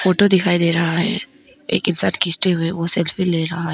Photo भी दिखाई दे रहा है एक इंसान खींचते हुए वो सेल्फी भी ले रहा है।